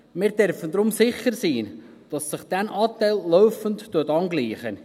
Wir dürfen deshalb sicher sein, dass sich deren Anteil laufend angleicht.